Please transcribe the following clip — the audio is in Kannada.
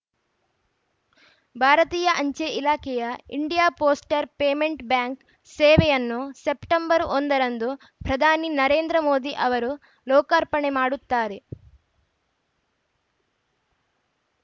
ಭಾರತೀಯ ಅಂಚೆ ಇಲಾಖೆಯ ಇಂಡಿಯಾ ಪೋಸ್ಟ್ರ ಪೇಮೆಂಟ್‌ ಬ್ಯಾಂಕ್‌ ಸೇವೆಯನ್ನು ಸೆಪ್ಟೆಂಬರ್ ಒಂದ ರಂದು ಪ್ರಧಾನಿ ನರೇಂದ್ರ ಮೋದಿ ಅವರು ಲೋಕಾರ್ಪಣೆ ಮಾಡುತ್ತಾರೆ